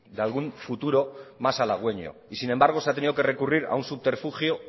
de algún futuro más halagüeño y sin embargo se ha tenido que recurrir a un subterfugio